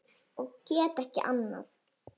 Og get ekki annað.